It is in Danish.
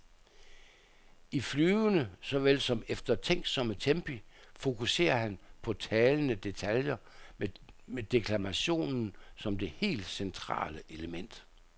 I flyvende såvel som eftertænksomme tempi fokuserer han på talende detaljer med deklamationen som det helt centrale element.